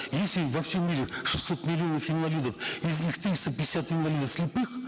если во всем мире шестьсот миллионов инвалидов из них триста пятьдесят инвалидов слепых